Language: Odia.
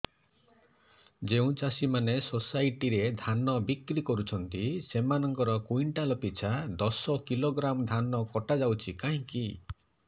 ଯେଉଁ ଚାଷୀ ମାନେ ସୋସାଇଟି ରେ ଧାନ ବିକ୍ରି କରୁଛନ୍ତି ସେମାନଙ୍କର କୁଇଣ୍ଟାଲ ପିଛା ଦଶ କିଲୋଗ୍ରାମ ଧାନ କଟା ଯାଉଛି କାହିଁକି